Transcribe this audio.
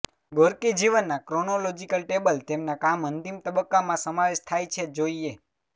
Gorky જીવનના chronological table તેમના કામ અંતિમ તબક્કામાં સમાવેશ થાય છે જોઈએ